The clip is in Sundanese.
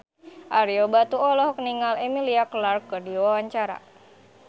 Ario Batu olohok ningali Emilia Clarke keur diwawancara